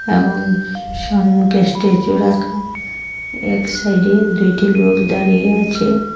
এবং সন্মুখে স্টেজ -ও রাখা এক সাইড -এ দুইটি লোক দাঁড়িয়ে আছে।